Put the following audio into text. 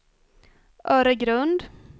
Öregrund